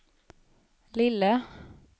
lille